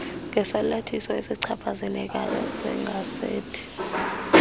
ngesalathiso esichaphazelekayo segazethi